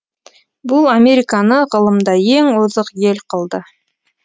бұл американы ғылымда ең озық ел қылды